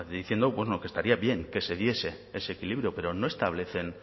diciendo lo que estaría bien que se diese ese equilibrio pero no establecen